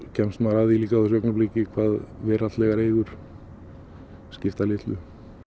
kemst maður að því á þessu augnabliki hvað veraldlegar eigur skipta litlu